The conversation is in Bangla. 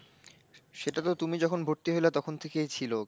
সেটা তো তুমি যখন ভর্তি হলে তখন থেকেই ছিল।